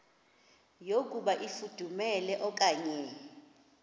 yokuba ifudumele okanye